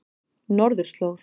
Norðurslóð